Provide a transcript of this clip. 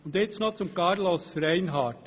Nun noch zu Carlos Reinhard.